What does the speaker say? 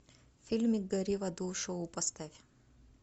фильмик гори в аду шоу поставь